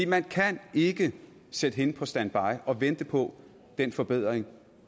man kan ikke sætte hende på standby og vente på den forbedring